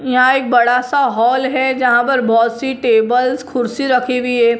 यहां एक बड़ा सा हाल है जहां पर बहोत सी टेबल्स खुर्सी रखी हुई है।